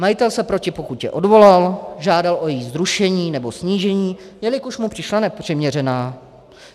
Majitel se proti pokutě odvolal, žádal o její zrušení nebo snížení, jelikož mu přišla nepřiměřená.